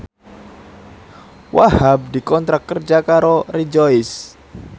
Wahhab dikontrak kerja karo Rejoice